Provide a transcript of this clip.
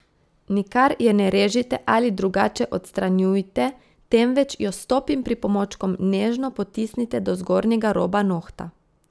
Nikar je ne režite ali drugače odstranjujte, temveč jo s topim pripomočkom nežno potisnite do zgornjega roba nohta.